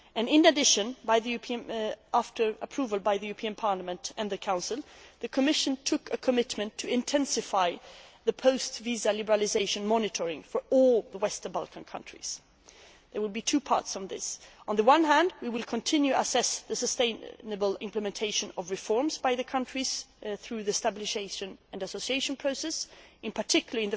In addition, after approval by the European Parliament and the Council, the Commission made a commitment to intensify post visa liberalisation monitoring for all the Western Balkan countries. There will be two parts to this. On the one hand, we will continue to assess the sustainable implementation of reforms by the countries concerned through the stabilisation and association process in particular,